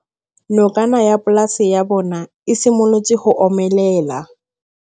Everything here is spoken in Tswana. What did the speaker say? Nokana ya polase ya bona, e simolola go omelela.